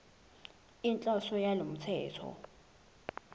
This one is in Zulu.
inhloso yalo mthetho